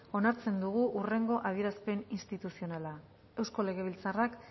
onartzen dugu hurrengo adierazpen instituzional euskal legebiltzarrak